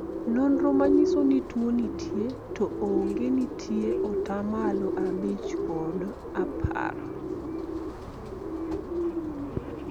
nonro manyiso ni tuo nitie to onge nitie atamalo abich kod apar